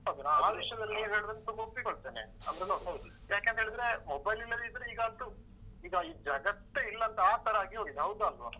ಹೌದು. ನಾನ್ ಆ ವಿಷ್ಯದಲ್ಲಿ ನೀವ್ ಹೇಳೂದನ್ನ ಒಪ್ಪಿಕೊಳ್ತೇನೆ ಅಂದ್ರೆ ನೋಡಿ ಯಾಕೆ ಅಂತ ಹೇಳಿದ್ರೆ mobile ಇಲ್ಲದಿದ್ರೆ ಈಗಂತೂ ಈಗ ಈ ಜಗತ್ತೇ ಇಲ್ಲ ಅಂತ ಆ ತರ ಆಗಿ ಹೋಗಿದೆ. ಹೌದಾ ಅಲ್ವಾ?